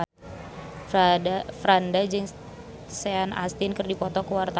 Franda jeung Sean Astin keur dipoto ku wartawan